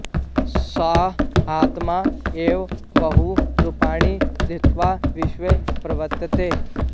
सः आत्मा एव बहु रूपाणि धृत्वा विश्वे प्रवर्तते